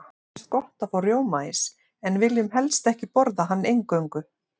Okkur finnst gott að fá rjómaís, en viljum helst ekki borða hann eingöngu.